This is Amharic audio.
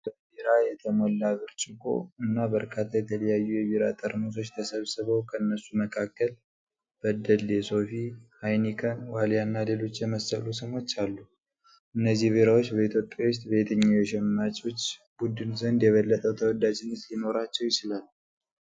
በቢራ የተሞላ ብርጭቆ እና በርካታ የተለያዩ የቢራ ጠርሙሶች ተሰብስበው፣ ከነሱ መካከል በደሌ፣ ሶፊ፣ ሃይኒከን፣ ዋልያ እና ሌሎችን የመሰሉ ስሞች አሉ። እነዚህ ቢራዎች በኢትዮጵያ ውስጥ በየትኛው የሸማቾች ቡድን ዘንድ የበለጠ ተወዳጅነት ሊኖራቸው ይችላል?